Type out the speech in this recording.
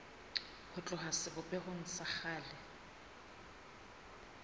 ho tloha sebopehong sa kgale